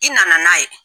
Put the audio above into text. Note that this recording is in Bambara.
I nana n'a ye